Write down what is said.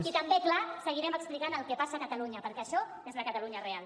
i també clar seguirem explicant el que passa a catalunya perquè això és la catalunya real